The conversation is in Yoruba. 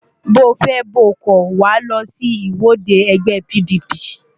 Bóo fẹ́ bóo kọ̀, Wàá lọ sí ìwọ́de ẹgbẹ́ PDP!